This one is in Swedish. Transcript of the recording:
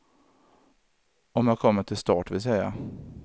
Om jag kommer till start vill säga.